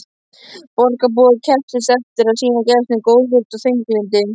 Borgarbúar kepptust eftir að sýna gestum góðvild og veglyndi.